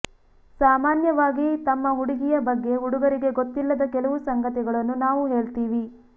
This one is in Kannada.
ಸಾಮಾನ್ಯವಾಗಿ ತಮ್ಮ ಹುಡುಗಿಯ ಬಗ್ಗೆ ಹುಡುಗರಿಗೆ ಗೊತ್ತಿಲ್ಲದ ಕೆಲವು ಸಂಗತಿಗಳನ್ನು ನಾವು ಹೇಳ್ತೀವಿ